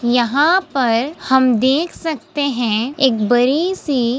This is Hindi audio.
यहाँ पर हम देख सकते हैं एक बड़ी सी --